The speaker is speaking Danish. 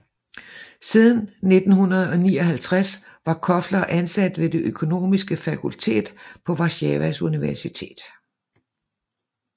Siden 1959 var Kofler ansat ved det økonomiske fakultet på Warszawas Universitet